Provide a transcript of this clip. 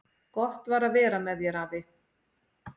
Gott var að vera með þér, afi.